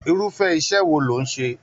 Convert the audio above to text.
Irufẹ iṣẹ wọn lò n ṣe?